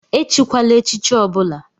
Echikwala echichi ọbula!